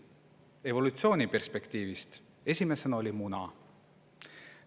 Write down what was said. Evolutsiooni perspektiivist vaadatuna oli esimesena muna.